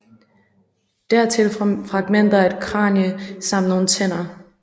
Dertil fragmenter af et kranie samt nogle tænder